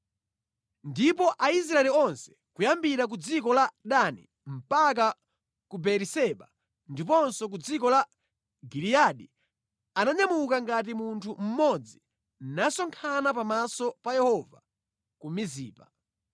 Ndipo Aisraeli onse kuyambira ku dziko la Dani mpaka ku Beeriseba ndiponso ku dziko la Giliyadi ananyamuka ngati munthu mmodzi nakasonkhana pamaso pa Yehova ku Mizipa.